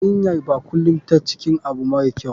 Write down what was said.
YArinyanbkulum tan cikin abu mara kyau.